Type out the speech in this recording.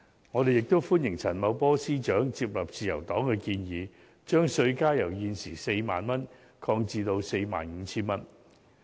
我們亦歡迎陳茂波司長接納自由黨的建議，把稅階由現時 40,000 元擴闊至 45,000 元。